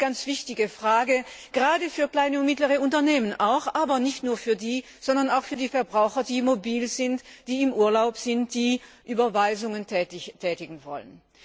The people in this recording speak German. Das ist eine ganz wichtige Frage, gerade auch für kleine und mittlere Unternehmen. Aber nicht nur für die, sondern auch für die Verbraucher, die mobil sind, die im Urlaub sind, die Überweisungen tätigen wollen.